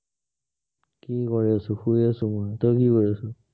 কি কৰি আছো, শুই আছো মই, তই কি কৰি আছ?